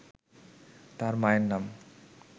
তার মায়ের নাম